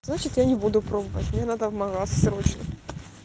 значит я не буду пробовать мне надо в магаз срочно